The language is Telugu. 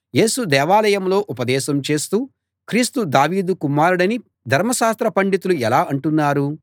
యేసు దేవాలయంలో ఉపదేశం చేస్తూ క్రీస్తు దావీదు కుమారుడని ధర్మశాస్త్ర పండితులు ఎలా అంటున్నారు